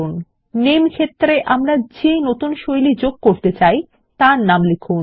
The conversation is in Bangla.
000525 000429 নামে ক্ষেত্রে আমরা যে নতুন শৈলীর পারি যোগ করতে চাই তার নাম লিখুন